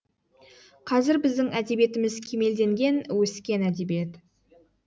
қазір біздің әдебиетіміз кемелденген өскен әдебиет